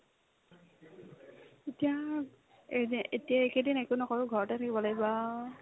এতিয়া এনে এতিয়া এইকেইদিন একো নকৰো ঘৰতে থাকিব লাগিব আ